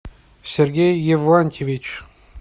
сергей евлантьевич